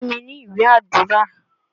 Fún mi ní ìwé Àdúrà.!